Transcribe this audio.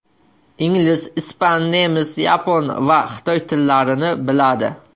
Ingliz, ispan, nemis, yapon va xitoy tillarini biladi.